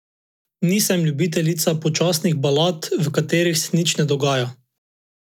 Nisem ljubiteljica počasnih balad, v katerih se nič ne dogaja.